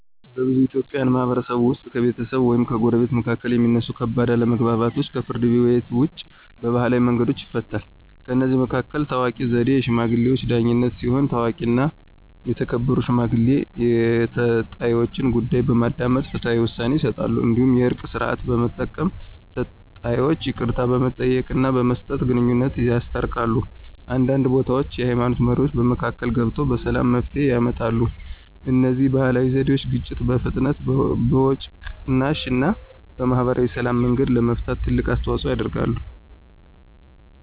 በብዙ የኢትዮጵያ ማህበረሰቦች ውስጥ ከቤተሰቦች ወይም ከጎረቤቶች መካከል የሚነሱ ከባድ አለመግባባቶች ከፍርድ ቤት ውጭ በባህላዊ መንገዶች ይፈታሉ። ከእነዚህ መካከል ታዋቂው ዘዴ “የሽማግሌዎች ዳኝነት” ሲሆን፣ ታዋቂና የተከበሩ ሽማግሌዎች የተጣይወችን ጉዳይ በማዳመጥ ፍትሃዊ ውሳኔ ይሰጣሉ። እንዲሁም “የእርቅ ሥርዓት” በመጠቀም ተጣይወች ይቅርታ በመጠየቅና በመስጠት ግንኙነታቸውን ያስታርቃሉ። አንዳንድ ቦታዎች የሃይማኖት መሪዎችም በመካከል ገብተው በሰላም መፍትሄ ያመጣሉ። እነዚህ ባህላዊ ዘዴዎች ግጭትን በፍጥነት፣ በወጪ ቅናሽ እና በማህበራዊ ሰላም መንገድ ለመፍታት ትልቅ አስተዋፅኦ ያደርጋሉ።